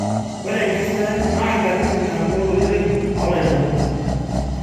ore enkesare naa nkatitin naagol oleng too lairemok